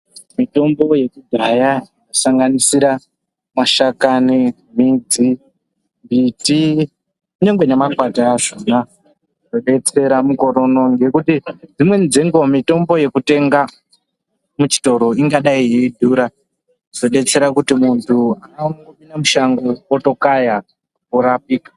Mitombo yekudhaya inosanganisira mashakani, midzi, mbiti kunyangwe nemakwati azvona zvodetsera mukore uno. ngekuti dzimweni dzenguva mitombo yekutenga muchitoro ingadai yeidhura kuzodetsera kuti muntu angopinda mushango orapika.